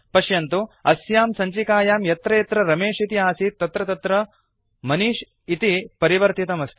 पश्यन्तु अस्यां सञ्चिकायां यत्र यत्र रमेश इति आसीत् तत्र तत्र मनिष् इति परिवर्तितमस्ति